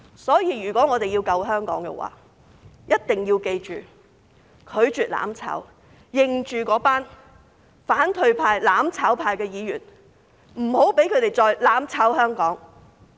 所以，如果我們要救香港，一定要記着，拒絕"攬炒"，認着那群反對派、"攬炒派"的議員，不要讓他們再"攬炒"香港。